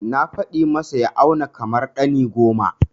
Na faɗa masa ya auna kamar ɗani goma.